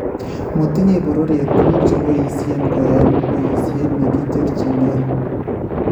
motinye bororyeet tuguuk cheboyisyen koyaeen boyiisyet neekicherchinkey